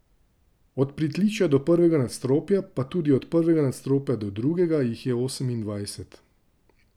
Od pritličja do prvega nadstropja, pa tudi od prvega nadstropja do drugega, jih je osemindvajset.